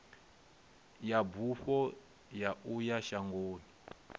ya bufho ya uya shangoni